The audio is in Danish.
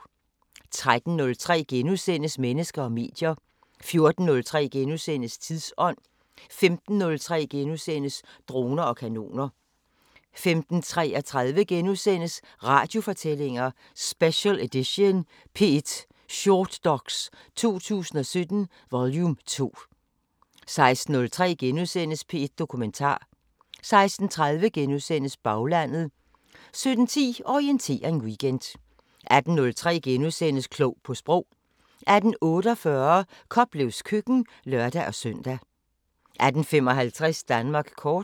13:03: Mennesker og medier * 14:03: Tidsånd * 15:03: Droner og kanoner * 15:33: Radiofortællinger: Special edition – P1 Shortdox 2017 vol 2 * 16:03: P1 Dokumentar * 16:30: Baglandet * 17:10: Orientering Weekend 18:03: Klog på Sprog * 18:48: Koplevs Køkken (lør-søn) 18:55: Danmark kort